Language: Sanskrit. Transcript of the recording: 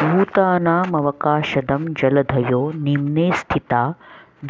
भूतानामवकाशदं जलधयो निम्ने स्थिता